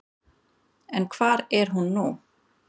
En hvar er hún nú?